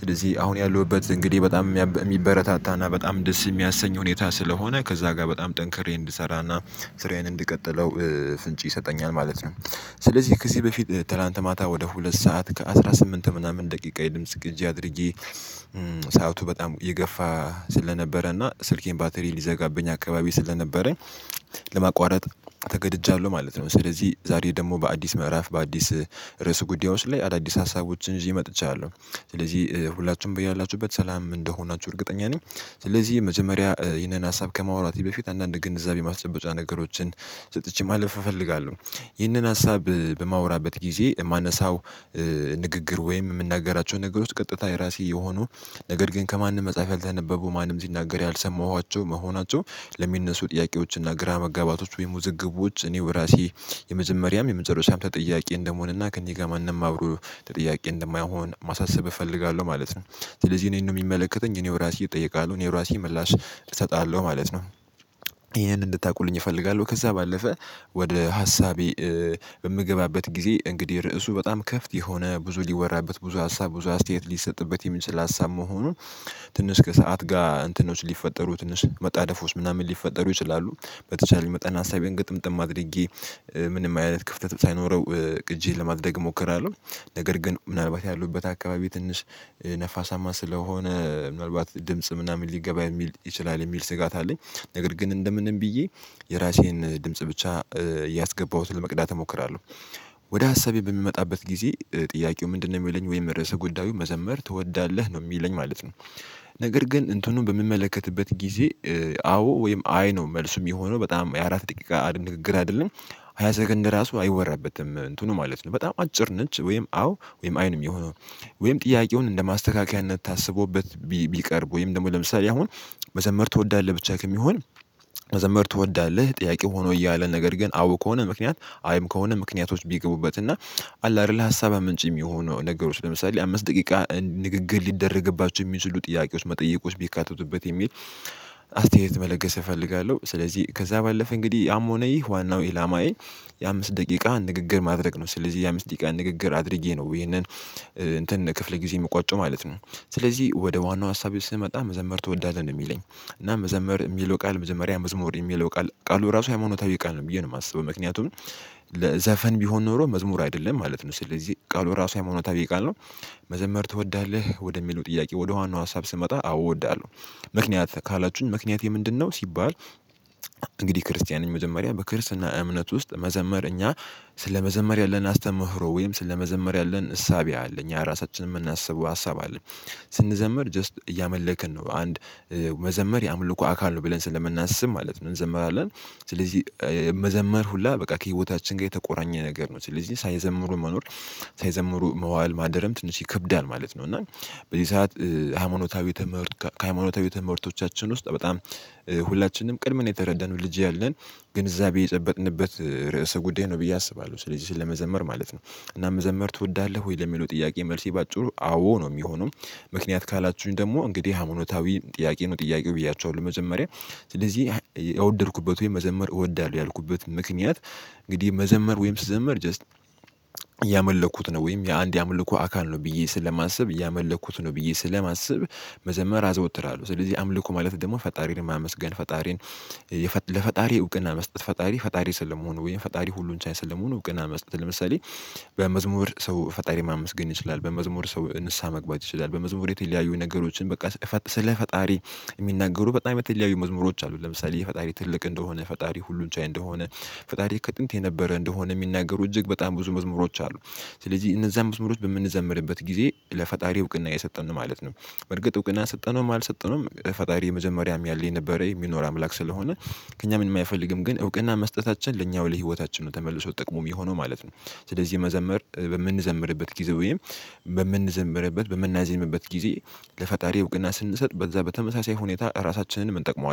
ስለዚህ አሁን ያለሁበት እንግዲህ በጣም የሚበረታታና በጣም ደስ የሚያሰኝ ሁኔታ ስለሆነ ከዛ ጋር በጣም ጠንክሬ እንድሰራና ስራዬን እንድቀጥለው ፍንጭ ይሰጠኛል ማለት ነው። ስለዚህ ከዚህ በፊት ትላንት ማታ ወደ ሁለት ሰዓት ከአስራ ስምንት ምናምን ደቂቃ የድምጽ ግዢ አድርጌ ስአቱም በጣም ይገፋ ስለነበረ እና ስልኬን ባትሪ ሊዘጋብኝ አካባቢ ስለነበረ። ለማቋረጥ ተገድጃለሁ ማለት ነው። ስለዚህ ዛሬ ደግሞ በአዲስ ምዕራፍ በአዲስ ርዕስ ጉዳዮች ላይ አዳዲስ ሀሳቦችን ይዤ መጥቻለሁ። ስለዚህ ሁላችንም ብያላችሁበት ሰላም እንደሆናችሁ እርግጠኛ ነኝ። ስለዚህ መጀመሪያ ይህንን ሀሳብ ከማውራት በፊት አንዳንድ ግንዛቤ ማስጨበጢያ ነገሮችን ሰጥቼ ማለፍ እፈልጋለሁ። ይህንን ሀሳብ በማወራበት ጊዜ የማነሳው ንግግር ወይም የምናገራቸው ነገር ቀጥታ የራሴ የሆኑ ነገር ግን ከማንም መጽሐፍ ያልተነበቡ ማንም ሲናገር ያልሰማኋቸው መሆናቸው ለሚነሱ ጥያቄዎችና እና ግራ መጋባቶች ወይም ውዝግቦች እኔው በራሴ የመጀመሪያም የመጨረሽያም ጥያቄ እንደመሆንና ከእኔ ጋር ማንም አብሮ ጥያቄ እንደማይሆን ማሳሰብ እፈልጋለሁ ማለት ነው። ስለዚህ እኔን ነው የሚመለከተኝ እኔው ራሴ እጠይቃለሁ እኔው ራሴ ምላሽ እሰጣለሁ ማለት ነው። ይሄንን እንድታውቁልኝ እፈልጋለሁ። ከዛ ባለፈ ወደ ሀሳቤ በምገባበት ጊዜ እንግዲህ ርዕሱ በጣም ከፍት የሆነ ብዙ ሊወራበት ብዙ ሀሳብ ብዙ አስተያየት ሊሰጥበት የሚችል ሀሳብ መሆኑን ትንሽ ከሰአት ጋር እንትኖች ሊፈጠሩ ትንሽ መጣደፉስ ምናምን ሊፈጠሩ ይችላሉ። በተቻለ መጠን ሀሳቤን ግጥምጥም አድርጌ ምንም አይነት ክፍተት ሳይኖረው ቅጂ ለማድረግ እሞክራለሁ። ነገር ግን ምናልባት ያሉበት አካባቢ ትንሽ ነፋሳማ ስለሆነ ምናልባት ድምጽም ምናምን ሊገባ የሚል ይችላል የሚል ስጋት አለኝ። ነገር ግን እንደምንም ብዬ የራሴን ድምጽ ብቻ ያስገባሁት ለመቅዳት እሞክራለሁ። ወደ ሀሳቤ በሚመጣበት ጊዜ ጥያቄው ምንድነው? የሚለኝ ወይም ርዕሰ ጉዳዩ መዘመር ትወዳለህ ነው የሚለኝ ማለት ነው። ነገር ግን እንትኑን በምመለከትበት ጊዜ አዎ ወይም አይ ነው መልሱ የሚሆነው በጣም የአራት ጥቂቃ ንግግር አይደለም። ሃያ ሰከንድ ለራሱ አይወራበትም እንትኑ ማለት ነው በጣም አጭር ነች ወይም አዎ ወይም አይንም የሆነው ወይም ጥያቄውን እንደማስተካከያነት ታስቦበት ቢቀርብ ወይም ደግሞ ለምሳሌ አሁን መዘመር ትወዳለህ ብቻ ከሚሆን መዘመር ትወዳለህ ጥያቄው ሆኖ እያለ ነገር ግን አዎ ከሆነ ምክንያት አይም ከሆነ ምክንያቶች ቢገቡበት እና አለ አይደል ሀሳብ አመንጭ የሚሆነው ነገሮች ለምሳሌ አምስት ደቂቃ ንግግር ሊደረግባቸው የሚሉ ጥያቄዎች መጠየቆች ቢካተቱበት የሚል አስተያየት መለገስ እፈልጋለሁ። ስለዚህ ከዛ ባለፈ እንግዲህ ያም ሆነ ይህ ዋናው ኢላማዬ የአምስት ደቂቃ ንግግር ማድረግ ነው። ስለዚህ የአምስት ደቂቃ ንግግር አድርጌ ነው ይሄንን እንትን ክፍለ ጊዜ የምቋጨው ማለት ነው። ስለዚህ ወደ ዋናው ሀሳቤ ስመጣ መዘመር ትወዳለህ የሚለኝ እና መዘመር የሚለው ቃል መጀመሪያ መዝሙር የሚለው ቃል ቃሉ ራሱ የሃይማኖታዊ ቃል ነው ብዬ ነው የማስበው ምክንያቱም። ዘፈን ቢሆን ኖሮ መዝሙር አይደለም ማለት ነው ስለዚህ ቃሉ ራሱ ሀይማኖታዊኖታል ቃል ነው። መዘመር ትወዳለህ? ወደሚለው ጥያቄ ወደ ዋናው ሀሳብ ስመጣ አዎ እወዳለሁ። ምክንያት ካላችሁኝ ምክንያቴ ምንድነው? ሲባል እንግዲህ ክርስቲያንን መዘመሪያ በክርስትና እምነት ውስጥ መዘመር እኛ ስለመዘመር ያለን አስተምህሮ ወይም ስለመዘመር ያለን እሳቤ አለ እኛ ራሳችንን የምናስበው ሀሳብ አለ። ስንዘምር ጀስት እያመለከን ነው አንድመዘመር የአምልኮ አካል ነው ብለን ስለምናስብ ማለት ነው እንዘምራለን። ስለዚህ መዘመር ሁላ በቃ ከህይወታችን ጋር የተቆራኘ ነገር ነው ስለዚህ ሳይዘምሩ መኖር ሳይዘምሩ መዋል ማደረም ትንሽ ይከብዳል ማለት ነው። እና በዚህ ሰዓት ሃይማኖታዊ ከሃይማኖታዊ ትምህርቶቻችን ውስጥ በጣም ሁላችንም ቅድም የተረዳነው ልጅ ያለን ግንዛቤ የጨበጥንበት ርዕሰ ጉዳይ ነው ብዬ አስባለሁ። ስለዚህ ስለመዘመር ማለት ነው እና መዘመር ትወዳለህ? ወይ ለሚለው ጥያቄ መልሴ በአጭሩ አዎ ነው የሚሆነው። ምክንያት ካላችሁኝ ደግሞ እንግዲህ ሃይማኖታዊ ጥያቄ ነው ጥያቄው ብያችኋለሁ ለመጀመሪያ ስለዚህ የወደድኩበት ወይም መዘመር እወዳለሁ ያልኩበት ምክንያት። እንግዲህ መዘመር ወይም ስዘመር ጀስት እያመለኩት ነው ወይም የአንድ ያመለኩ አካል ነው ብዬ ስለማስብ እያመለኩት ነው ብዬ ስለማስብ። መዘመር አዘወትራለሁ ስለዚህ አምልኮ ማለት ደግሞ ፈጣሪን ማመስገን ፈጣሪን ለፈጣሪ እውቅና መስጠት ፈጣሪ ፈጣሪ ስለመሆኑ ወይም ፈጣሪ ሁሉን ቻይ ስለመሆኑ እውቅና መስጠት ለምሳሌ። በመዝሙር ሰው ፈጣሪ ማመስገን ይችላል በመዝሙር ሰው ንስሃ መግባት ይችላል በመዝሙር የተለያዩ ነገሮችን በቃ ስለ ፈጣሪ የሚናገሩ በጣም የተለያዩ ልዩ መዝሙሮች አሉ። ለምሳሌ የፈጣሪ ትልቅ እንደሆነ ፈጣሪ ሁሉን ቻይ እንደሆነ ፈጣሪ ከጥንት የነበረ እንደሆነ የሚናገሩ እጅግ በጣም ብዙ መዝሙሮች አሉ። ስለዚህ እነዛን መዝሙሮች በምንዘምርበት ጊዜ ለፈጣሪ እውቅና የሰጠን ማለት ነው። በርግጥ እውቅና ሰጠነውም አልሰጠነውም ፈጣሪ መጀመሪያም ያለኝ ነበረ የሚኖር አምላክ ስለሆነ ከእኛ ምን አይፈልግም ግን እውቅና መስጠታችን ለኛው ለህይወታችን ነው ተመልሶ ጥቅሙ የሚሆነው ማለት ነው። ስለዚህ መዘምር በምንዘምርበት ጊዜ በምንዘምርበት በምናዜምበት ጊዜ ለፈጣሪ እውቅና ስንሰጥ በዛ በተመሳሳይ ሁኔታ ራሳችንን እንጠቅመዋለን